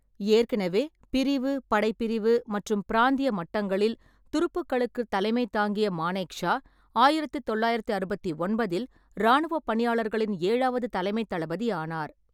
ஏற்கனவே பிரிவு, படைப்பிரிவு மற்றும் பிராந்திய மட்டங்களில் துருப்புக்களுக்குத் தலைமை தாங்கிய மானேக்ஷா, ஆயிரத்து தொள்ளாயிரத்து அறுபத்தி ஒன்பதில் இராணுவப் பணியாளர்களின் ஏழாவது தலைமைத் தளபதி ஆனார்.